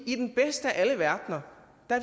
i den bedste af alle verdener